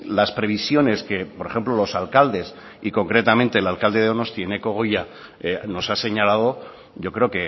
las previsiones que por ejemplo los alcaldes y concretamente el alcalde de donosti eneko goia nos ha señalado yo creo